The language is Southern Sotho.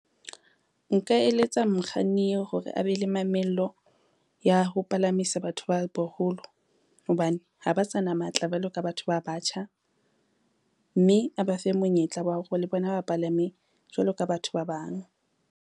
Nka eletsa mokganni yeo hore a be le mamello ya ho palamisa batho ba baholo, hobane ha ba sa na matla jwalo ka batho ba batjha, mme a ba fe monyetla wa hore le bona ba palame jwalo ka batho ba bang.